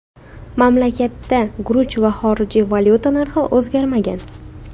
Mamlakatda guruch va xorijiy valyuta narxi o‘zgarmagan.